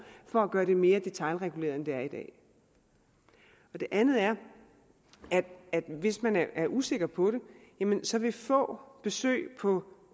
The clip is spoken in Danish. for at gøre det mere detailreguleret end det er i dag det andet er at hvis man er usikker på det så vil få besøg på